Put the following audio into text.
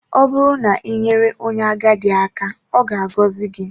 Ọ bụrụ na i nyere onye agadi aka, ọ ga-agọzi gị